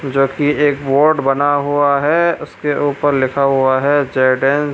जो की एक बोर्ड बना हुआ है। उसके ऊपर लिखा हुआ है जोर्डेन --